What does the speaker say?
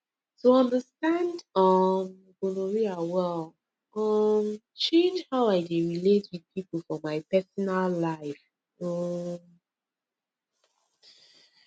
to understand um gonorrhea well um change how i dey relate with people for my personal life um